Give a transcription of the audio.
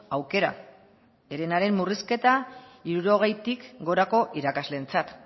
aukera herenaren murrizketa hirurogeitik gorako irakasleentzat